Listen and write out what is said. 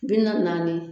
Bi naani naani